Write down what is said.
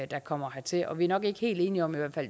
der kommer hertil og vi er nok ikke helt enige om